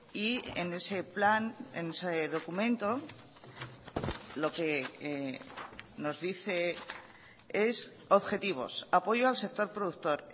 y en ese plan en ese documento lo que nos dice es objetivos apoyo al sector productor